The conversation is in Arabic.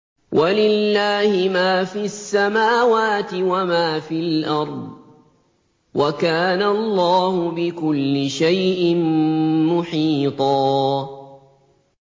وَلِلَّهِ مَا فِي السَّمَاوَاتِ وَمَا فِي الْأَرْضِ ۚ وَكَانَ اللَّهُ بِكُلِّ شَيْءٍ مُّحِيطًا